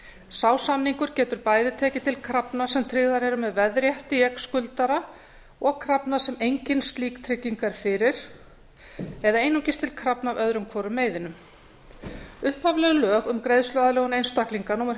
sá samningur getur bæði tekið til krafna sem tryggðar eru með veðrétti í eign skuldara og krafna sem engin slík trygging er fyrir eða einungis til krafna af öðrum hvorum meiðinum upphafleg lög um greiðsluaðlögun einstaklinga númer